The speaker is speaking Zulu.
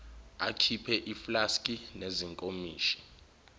akhiphe iflaski nezinkomishi